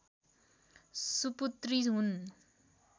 सुपुत्री हुन्